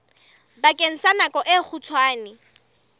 bakeng sa nako e kgutshwane